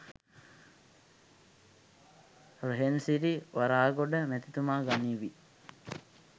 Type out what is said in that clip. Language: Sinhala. රෙහෙන්සිරි වරාගොඩ මැතිතුමා ගනීවි